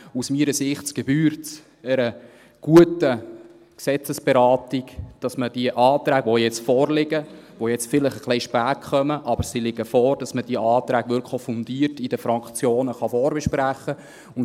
Aus meiner Sicht gebührt es einer guten Gesetzesberatung, dass man die Anträge, die jetzt vorliegen – die jetzt vielleicht etwas spät kommen, aber vorliegen –, wirklich auch fundiert in den Fraktionen vorbesprechen kann.